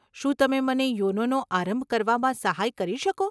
શું તમે મને યોનોનો આરંભ કરવામાં સહાય કરી શકો?